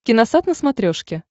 киносат на смотрешке